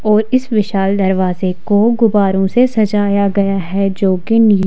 और इस विशाल दरवाजे को गुबारों से सजाया गया है जो कि--